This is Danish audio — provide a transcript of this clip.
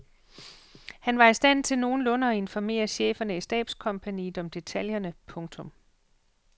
Han var i stand til nogenlunde at informere cheferne i stabskompagniet om detaljerne. punktum